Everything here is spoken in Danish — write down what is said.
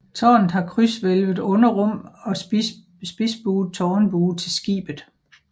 Tårnet har krydshvælvet underrum og spidsbuet tårnbue til skibet